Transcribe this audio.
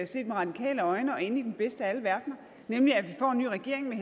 set med radikale øjne at ende i den bedste af alle verdener nemlig at vi får en ny regering med